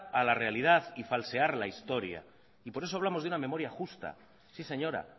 a la realidad y falsear la historia y por eso hablamos de una memoria justa sí señora